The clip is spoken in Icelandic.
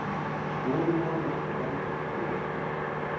Skoðum nánar hvað veldur túrverkjum.